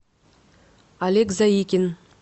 олег заикин